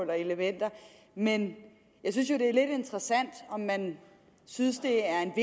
og elementer men jeg synes jo det er lidt interessant om man synes det er en